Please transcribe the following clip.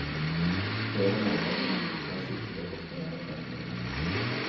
Flere mente at en enkeltreise ikke bør koste mer enn fem kroner.